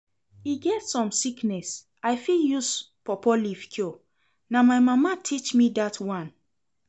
E get some sickness I fit use pawpaw leaf cure, na my mama teach me dat one